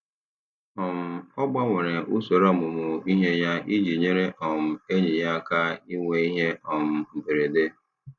um Ọ gbanwere usoro ọmụmụ ihe ya iji nyere um enyi ya aka inwe ihe um mberede.